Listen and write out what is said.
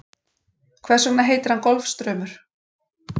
Hvers vegna heitir hann Golfstraumur?